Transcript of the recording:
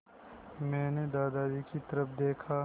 मैंने दादाजी की तरफ़ देखा